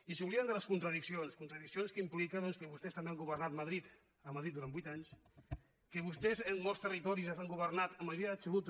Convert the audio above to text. i s’obliden de les contradiccions contradiccions que impliquen que vostès també han governat a madrid durant vuit anys que vostès en molts territoris han governat amb majoria absoluta